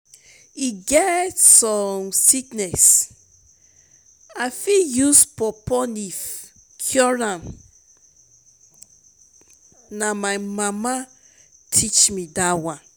e get some sickness i fit use pawpaw leaf cure na my mama teach me dat one